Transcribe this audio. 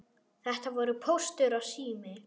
Þetta voru Póstur og Sími.